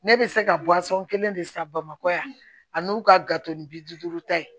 Ne bɛ se ka kelen de san bamakɔ yan ani u ka gato ni bi duuru ta ye